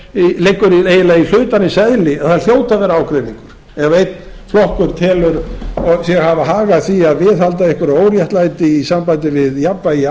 það liggur í hlutarins eðli að það hljóti að vera ágreiningur ef einn flokkur telur sig hafa hag af því að viðhalda einhverju óréttlæti við jafnvægi